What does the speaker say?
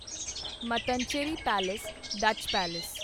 Mattancherry palace Dutch palace